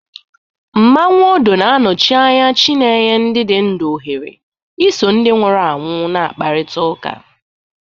Mmanwu Odo na-anọchi anya chi na-enye ndị dị ndụ ohere iso ndị nwụrụ anwụ na-akpakọrịta